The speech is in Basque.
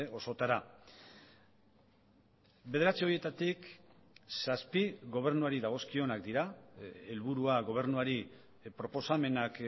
osotara bederatzi horietatik zazpi gobernuari dagozkionak dira helburua gobernuari proposamenak